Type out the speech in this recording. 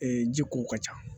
ji ko ka ca